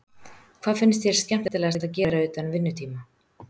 Hvað finnst þér skemmtilegast að gera utan vinnutíma?